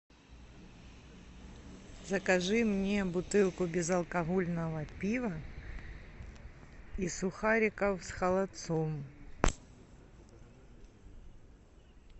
закажи мне бутылку безалкогольного пива и сухариков с холодцом